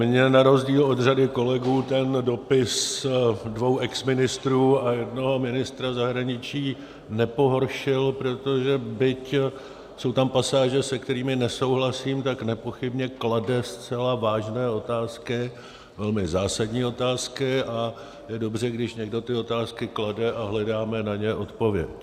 Mně na rozdíl od řady kolegů ten dopis dvou exministrů a jednoho ministra zahraničí nepohoršil, protože byť jsou tam pasáže, se kterými nesouhlasím, tak nepochybně klade zcela vážné otázky, velmi zásadní otázky, a je dobře, když někdo ty otázky klade a hledáme na ně odpověď.